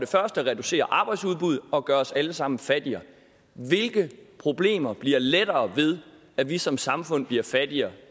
der reducerer arbejdsudbuddet og gør os alle sammen fattigere hvilke problemer bliver lettere at løse ved at vi som samfund bliver fattigere